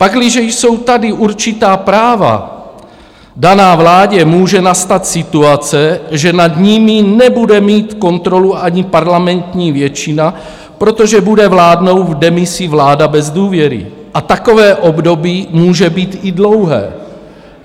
Pakliže jsou tady určitá práva daná vládě, může nastat situace, že nad nimi nebude mít kontrolu ani parlamentní většina, protože bude vládnout v demisi vláda bez důvěry, a takové období může být i dlouhé.